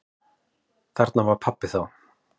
Þarna var pabbi þá.